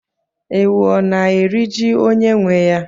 Ewu ọ na-eri ji onye nwe ya?